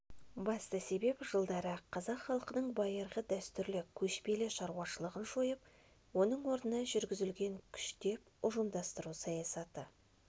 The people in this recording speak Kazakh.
басты себеп жылдары қазақ халқының байырғы дәстүрлі көшпелі шаруашылығын жойып оның орнына жүргізілген күштеп ұжымдастыру саясаты